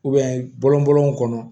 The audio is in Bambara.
bɔn n kɔnɔ